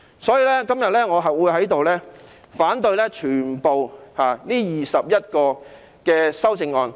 所以，我今天會反對全部21項修正案。